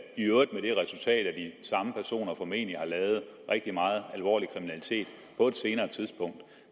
i øvrigt med det resultat at de samme personer formentlig har lavet rigtig meget alvorlig kriminalitet